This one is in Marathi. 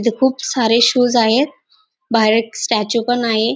इथ खूप सारे शूज आहे बाहेर एक स्टॅच्यू पण आहे.